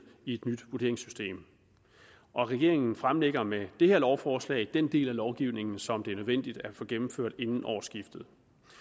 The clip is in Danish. i et nyt vurderingssystem og regeringen fremsætter med det her lovforslag den del af lovgivningen som det er nødvendigt at få gennemført inden årsskiftet